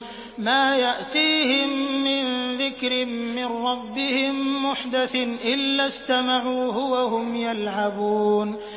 مَا يَأْتِيهِم مِّن ذِكْرٍ مِّن رَّبِّهِم مُّحْدَثٍ إِلَّا اسْتَمَعُوهُ وَهُمْ يَلْعَبُونَ